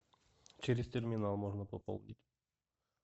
через терминал можно пополнить